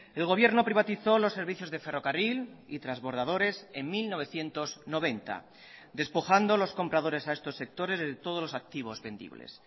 el gobierno privatizó los servicios de ferrocarril y transbordadores en mil novecientos noventa despojando los compradores a estos sectores de todos los activos vendibles